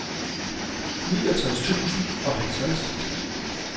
fireogtres tusind og halvtreds